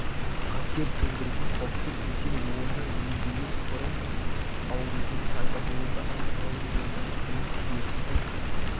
қатер төндіретін қауіпті кесел оны емдемес бұрын аурудың пайда болу даму таралу жолдарын біліп дерттің